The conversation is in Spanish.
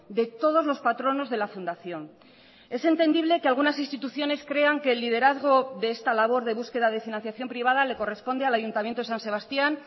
de todos los patronos de la fundación es entendible que algunas instituciones crean que el liderazgo de esta labor de búsqueda de financiación privada le corresponde al ayuntamiento de san sebastián